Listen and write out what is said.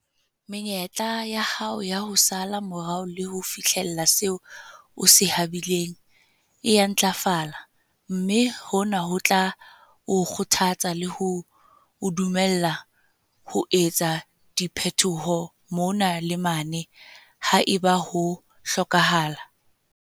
Menyetla ya hao ya ho sala morao le ho fihlella seo o se habileng e a ntlafala, mme hona ho tla o kgothatsa le ho o dumella ho etsa diphetoho mona le mane ha eba ho hlokahala.